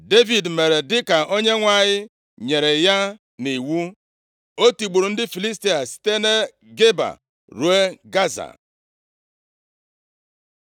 Devid mere dịka Onyenwe anyị nyere ya nʼiwu. O tigburu ndị Filistia, site na Geba ruo Gaza.